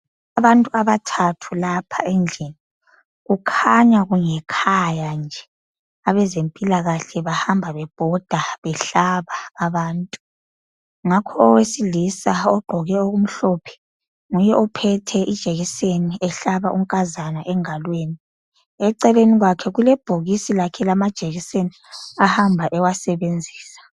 Abantu abathathu lapha endlini, kukhanya kungekhaya nje abezempilakahle bahamba bebhoda behlaba abantu ngakho owesilisa ogqoke okumhlophe nguye ophethe ijekiseni ehlaba unkazana engalweni eceleni kwakhe kulebhokisi lakhe lamajekiseni ahamba ewasebenzisa.